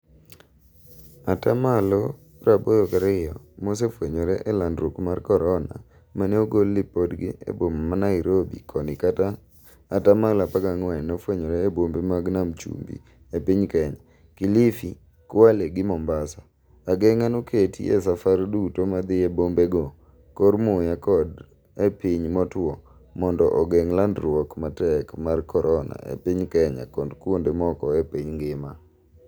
Ataa malo 82 mose fwenyore e landruok mar korona mane ogol lipodgi e boma ma Nairobi koni ka ataa malo 14 nofwenyore e bombe ma Nam chumbi e piny kenya: Kilifi, Kwale gi Mombasa. Ageng'a noketi e safar duto madhie bombe go kor muya kod e piny motuo mondo ogeng' landruok matek mar korona e piny Kenya kod kuonde moko e piny ngima.